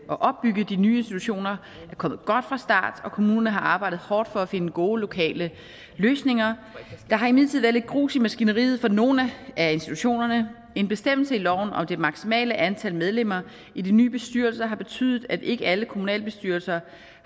opbygge de nye institutioner er kommet godt fra start og kommunerne har arbejdet hårdt for at finde gode lokale løsninger der har imidlertid været lidt grus i maskineriet for nogle af institutionerne en bestemmelse i loven om det maksimale antal medlemmer i de nye bestyrelser har betydet at ikke alle kommunalbestyrelser